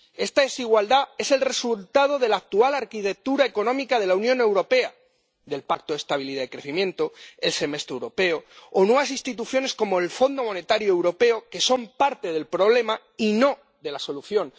Esta desigualdad es el resultado de la actual arquitectura económica de la Unión Europea, del Pacto de Estabilidad y Crecimiento, el Semestre europeo o nuevas instituciones, como el Fondo Monetario Europeo, que son parte del problema y no de la solución.